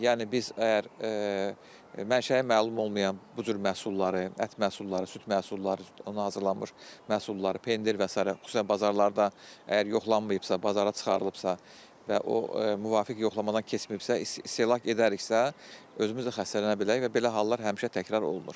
Yəni biz əgər mənşəyi məlum olmayan bu cür məhsulları, ət məhsulları, süd məhsulları, ondan hazırlanmış məhsulları, pendir və sairə xüsusən bazarlarda əgər yoxlanmayıbsa, bazara çıxarılıbsa və o müvafiq yoxlamadan keçməyibsə, istehlak edəriksə, özümüz də xəstələnə bilərik və belə hallar həmişə təkrar olunur.